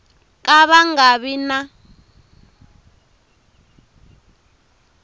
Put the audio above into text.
ka va nga vi na